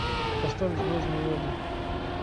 поставь звездные войны